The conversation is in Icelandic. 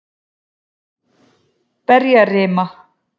Berjarima